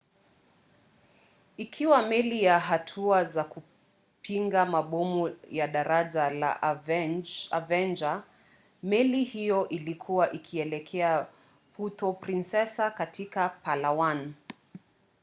ikiwa meli ya hatua za kupinga mabomu ya daraja la avenger meli hiyo ilikuwa ikielekea puerto princesa katika palawan